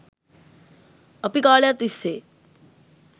අපි කාලයක් තිස්සේ